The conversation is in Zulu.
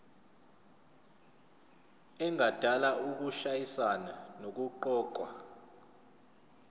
engadala ukushayisana nokuqokwa